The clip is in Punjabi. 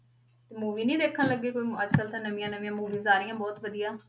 ਤੇ movie ਨੀ ਦੇਖਣ ਲੱਗੇ ਕੋਈ ਅੱਜ ਕੱਲ੍ਹ ਤਾਂ ਨਵੀਂਆਂ ਨਵੀਂਆਂ movies ਆ ਰਹੀਆਂ ਬਹੁਤ ਵਧੀਆ।